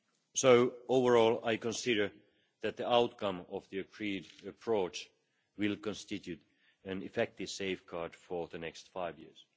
So, overall I consider that the outcome of the agreed approach will constitute an effective safeguard for the next five years.